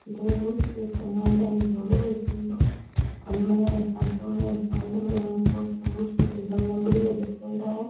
दो बुसेट जमायोड़ा है एक धोलो और एक नीलो अलमारियां अलग अलग रंग को बुसेट एक दम बढ़िया जचायोडा है।